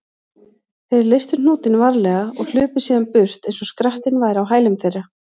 Þeir leystu hnútinn varlega og hlupu síðan burt eins og skrattinn væri á hælum þeirra.